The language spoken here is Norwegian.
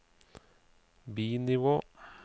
bi-nivå